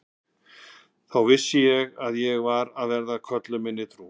Og þá vissi ég að ég varð að vera köllun minni trú.